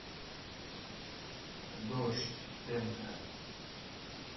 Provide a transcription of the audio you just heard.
дождь тэнка